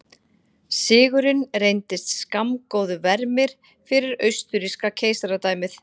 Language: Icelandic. Sigurinn reyndist skammgóður vermir fyrir austurríska keisaradæmið.